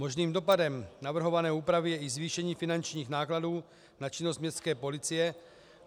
Možným dopadem navrhované úpravy je i zvýšení finančních nákladů na činnost městské policie.